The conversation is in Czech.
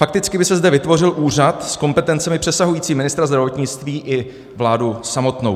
Fakticky by se zde vytvořil úřad s kompetencemi přesahujícími ministra zdravotnictví i vládu samotnou.